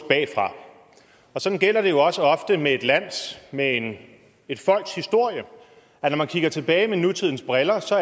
bagfra og sådan gælder det jo også ofte med et lands med et folks historie at når man kigger tilbage med nutidens briller